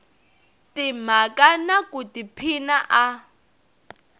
timhaka na ku tiphina a